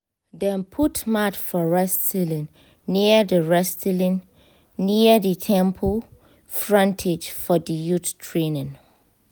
dem put mat for wrestling near di wrestling near di temple frontage for the youth training